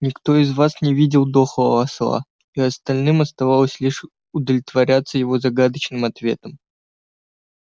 никто из вас не видел дохлого осла и остальным оставалось лишь удовлетворяться его загадочным ответом